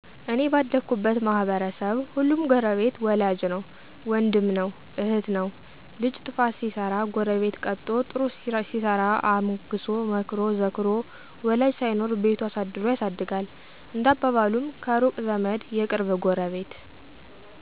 " እኔ ባደኩበት ማህበረሰብ ሁሉም ጎረቤት ወላጅ ነዉ ወንድም ነዉ እህት ነዉ ልጅ ጥፋት ሲሰራ ጎረቤት ቀጥቶ ጥሩ ሲሰራ አሞግሶ መክሮ ዘክሮ ወላጅ ሳይኖር ቤቱ አሳድሮ ያሳድጋል። እንደ አባባሉም ከሩቅ ዘመድ የቅርብ ጎረቤት !!